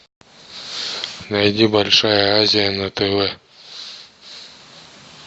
найди большая азия на тв